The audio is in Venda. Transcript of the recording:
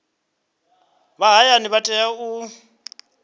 vha hayani vha tea u